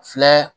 Filɛ